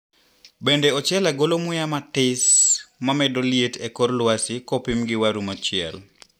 Bende ochele golo muya matis mamedo liet ekor lwasi kopim gi waru mochiel?